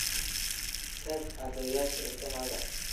Tag cadayashada ilkahaaga.